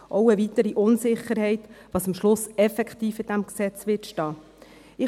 Dies ist eine weitere Unsicherheit, dahingehend, was am Schluss effektiv in diesem Gesetz stehen wird.